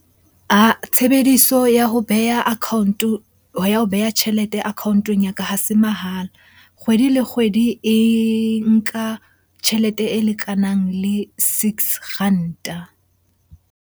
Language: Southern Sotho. Ah-ah tshebediso ya ho beha account-o, ya ho beha tjhelete account-ong ya ka ha se mahala. Kgwedi le kgwedi e nka tjhelete e lekanang le six ranta.